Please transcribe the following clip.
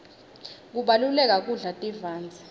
kubalulekile kudla tivandze